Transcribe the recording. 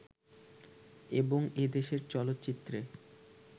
এবং এদেশের চলচ্চিত্রে